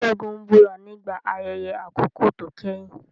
Segun búra nígbà ayẹyẹ àkọ́kọ́ tó kẹ́yìn.